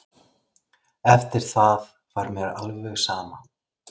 Eftir það var mér alveg sama.